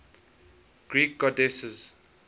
greek goddesses